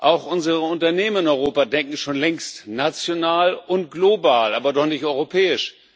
Auch unsere Unternehmen in Europa denken schon längst national und global, aber doch nicht europäisch.